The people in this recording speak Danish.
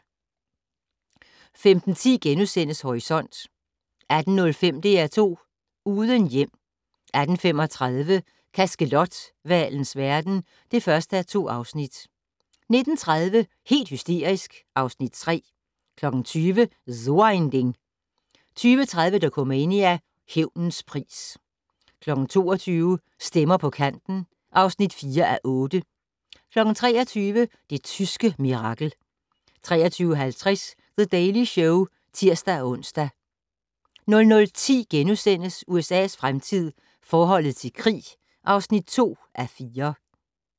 15:10: Horisont * 18:05: DR2 Uden hjem 18:35: Kaskelothvalens verden (1:2) 19:30: Helt hysterisk (Afs. 3) 20:00: So ein Ding 20:30: Dokumania: Hævnens pris 22:00: Stemmer på kanten (4:8) 23:00: Det tyske mirakel 23:50: The Daily Show (tir-ons) 00:10: USA's fremtid - forholdet til krig (2:4)*